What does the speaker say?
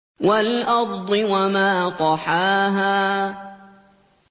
وَالْأَرْضِ وَمَا طَحَاهَا